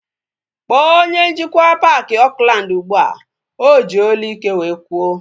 Kpọọ onye njikwa paaki Oakland ụgbụa! O ji olu ike wee kwuo